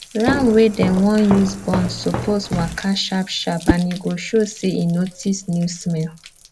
ram wey dem wan use born suppose waka sharp sharp and e go show say e notice new smell